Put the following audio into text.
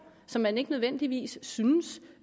som man ikke nødvendigvis synes